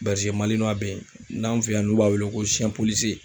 Bɛrizemalinuwa n'an fe yan n'u b'a wele ko sɛn polisiye